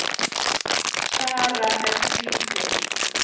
Sara er tvítug.